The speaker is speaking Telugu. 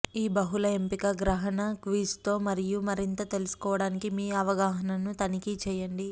ఈ బహుళ ఎంపిక గ్రహణ క్విజ్తో మరియు మరింత తెలుసుకోవడానికి మీ అవగాహనను తనిఖీ చేయండి